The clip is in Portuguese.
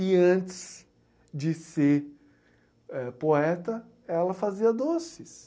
E antes de ser, eh, poeta, ela fazia doces.